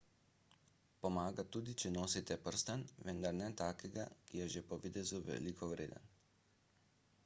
pomaga tudi če nosite prstan vendar ne takega ki je že po videzu veliko vreden